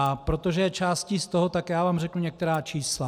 A protože je částí z toho, tak já vám řeknu některá čísla.